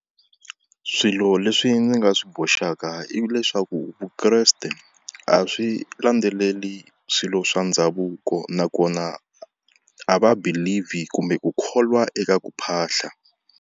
Swilo leswi ndzi nga swi boxaka ivi leswaku Vukreste a swi landzeleli swilo swa ndhavuko, nakona a va believe hi kumbe ku kholwa eka ku phahla.